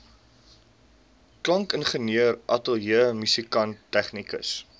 klankingenieur ateljeemusikant tegnikus